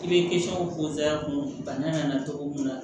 I bɛ kun bana in na cogo min na